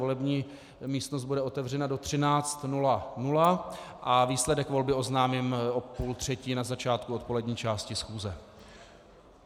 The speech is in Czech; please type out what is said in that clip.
Volební místnost bude otevřena do 13.00 a výsledek volby oznámím v půl třetí na začátku odpolední části schůze.